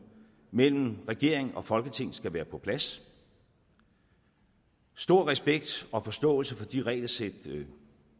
mellem regering og folketing skal være på plads stor respekt og forståelse for de regelsæt